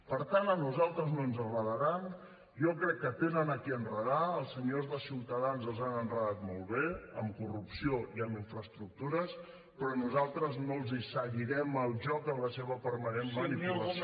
per tant a nosaltres no ens enredaran jo crec que tenen a qui enredar als senyors de ciutadans els han enredat molt bé amb corrupció i amb infraestructures però nosaltres no els seguirem el joc en la seva permanent manipulació